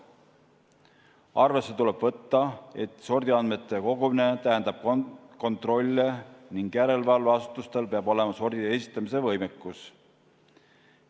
Arvesse tuleb võtta, et sordiandmete kogumine tähendab kontrolle ning järelevalveasutustel peab olema sordiandmete esitamise võimekus.